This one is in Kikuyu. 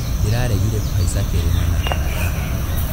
Ndĩrageririe kũhaica kĩrĩma na arata akwa.